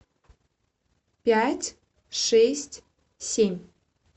пять шесть семь